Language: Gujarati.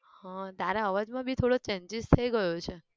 હમ તારા અવાજ માં બી થોડો changes થઇ ગયો છે